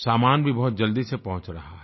सामान भी बहुत जल्दी से पहुँच रहा है